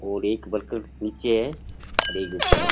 और एक वर्कर नीचे है और एक ऊपर है।